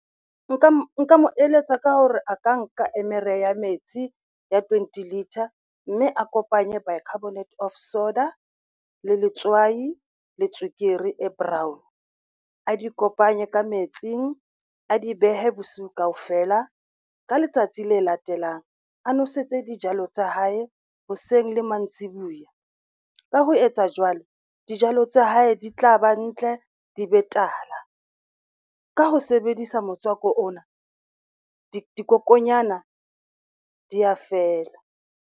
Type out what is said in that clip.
Nka mo eletsa ka hore a ka nka eme rea metsi ya twenty litre, mme a kopanye bicarbonate of soda le letswai le tswekere e brown. A di kopanye ka metsing, a di behe bosiu kaofela, ka letsatsi le latelang a nwesetse dijalo tsa hae hoseng le mantsibuya. Ka ho etsa jwalo, dijalo tsa hae di tla ba ntle, di be tala. Ka ho sebedisa motswako ona dikokonyana di a fela.